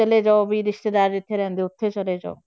ਚਲੇ ਜਾਓ ਵੀ ਰਿਸ਼ਤੇਦਾਰ ਜਿੱਥੇ ਰਹਿੰਦੇ ਆ ਉੱਥੇ ਚਲੇ ਜਾਓ।